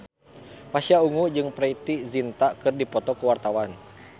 Pasha Ungu jeung Preity Zinta keur dipoto ku wartawan